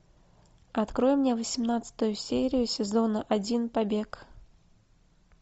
открой мне восемнадцатую серию сезона один побег